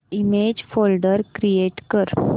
image folder create कर